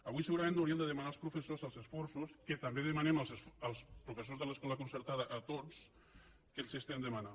avui segurament no hauríem de demanar als professors els esforços que també demanem als professors de l’escola concertada a tots que els estem demanant